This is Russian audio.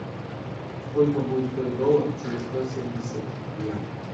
сколько будет стоить доллар через сто семьдесят дня